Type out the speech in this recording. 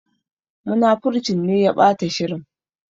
Munafurcin ne ya ɓata shirin.